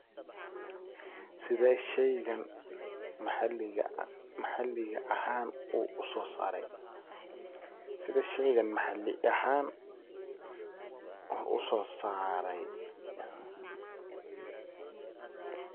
Sidhee sheygan maxalli ahaan usoo saaray? sidha sheygan maxali ahaan usoosarey.